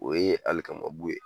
O ye hali alikamabu ye